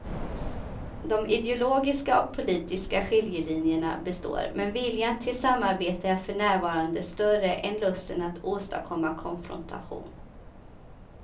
De ideologiska och politiska skiljelinjerna består men viljan till samarbete är för närvarande större än lusten att åstadkomma konfrontation.